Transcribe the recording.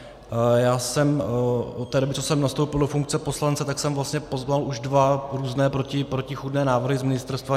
Já jsem od té doby, co jsem nastoupil do funkce poslance, tak jsem vlastně poznal už dva různé protichůdné návrhy z ministerstva.